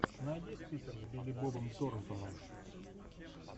найди список с билли бобом торнтоном